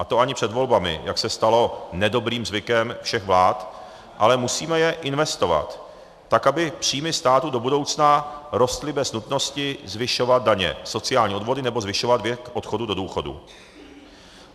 A to ani před volbami, jak se stalo nedobrým zvykem všech vlád, ale musíme je investovat, tak aby příjmy státu do budoucna rostly bez nutnosti zvyšovat daně, sociální odvody nebo zvyšovat věk odchodu do důchodu.